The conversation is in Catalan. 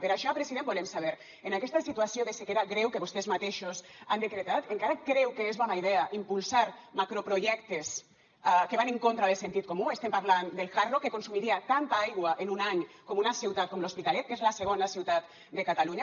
per això president volem saber en aquesta situació de sequera greu que vostès mateixos han decretat encara creu que és bona idea impulsar macroprojectes que van en contra del sentit comú estem parlant del hard rock que consumiria tanta aigua en un any com una ciutat com l’hospitalet que és la segona ciutat de catalunya